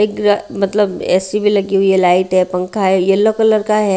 एक मतलब ऐ_सी भी लगी हुई है लाइट है पंखा है येलो कलर का है।